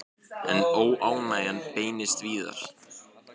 En óánægjan beinist víðar.